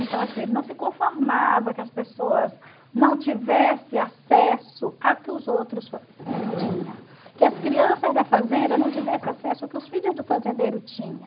Ele não se conformava que as pessoas não tivessem acesso ao que os outros tinham, que as crianças da fazenda não tivessem acesso ao que os filhos do fazendeiro tinham.